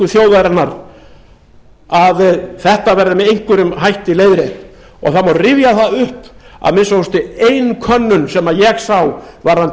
þjóðarinnar að þetta verði með einhverjum hætti leiðrétt og það má rifja það upp að að minnsta kosti ein könnun sem ég sá varðandi